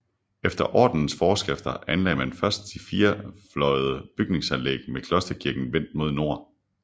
Efter ordenens forskrifter anlagde man først det firefløjede bygningsanlæg med klosterkirken vendt mod nord